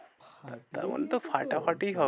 আর তেমন তো ফাটাফাটি হবে।